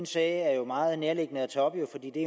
sag er jo meget nærliggende at tage op